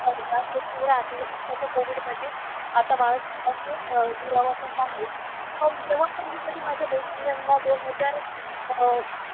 होता तो थोडा आता आताच्या कोविडमध्ये आता माणसांपासून दुरावा पण नाही आहे. पण जेव्हा पण मी कधी माझ्या मैत्रिणींना दोन हजार अह